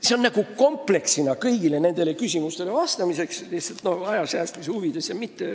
See on kompleksne vastus kõigile nendele küsimustele lihtsalt aja säästmise huvides.